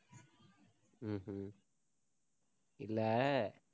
இல்லை,